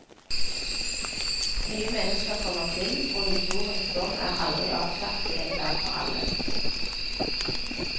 Nye mennesker kommer til, og historiens dom er aldri avsagt en gang for alle.